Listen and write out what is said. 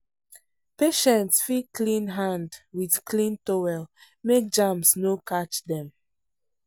patients fit clean hand with clean towel make germs no catch dem.